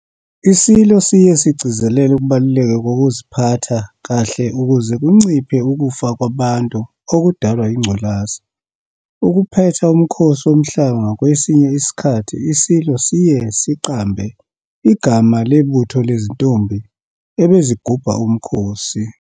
ISilo siye sigcizelele ukubaluleka kokuziphatha kahle ukuze kunciphe ukufa kwabantu okudalwa yingculaza. Ukuphetha uMkhosi Womhlanga kwesinye isikhathi iSilo siye siqambe igama lebutho lezintombi ebezigubha uMkhosi.